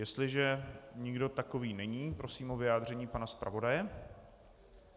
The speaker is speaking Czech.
Jestliže nikdo takový není, prosím o vyjádření pana zpravodaje.